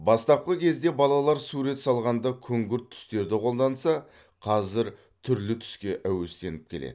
бастапқы кезде балалар сурет салғанда күңгірт түстерді қолданса қазір түрлі түске әуестеніп келеді